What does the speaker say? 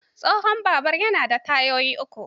Tsohon babur yana da tayoyi uku.